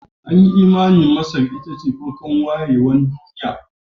An yi imanin Masar ita ce farkon wayewar duniya